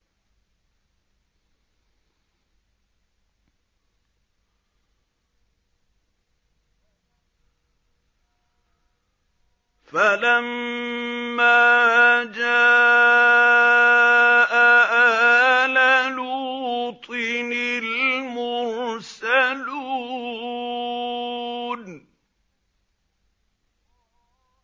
فَلَمَّا جَاءَ آلَ لُوطٍ الْمُرْسَلُونَ